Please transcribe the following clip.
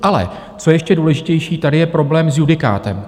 Ale co je ještě důležitější, tady je problém s judikátem.